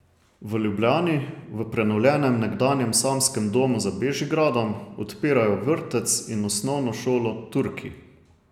V Ljubljani, v prenovljenem nekdanjem samskem domu za Bežigradom, odpirajo vrtec in osnovno šolo Turki.